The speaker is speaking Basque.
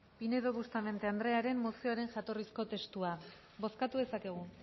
pinedo bustamante andrearen mozioaren jatorrizko testua bozkatu dezakegu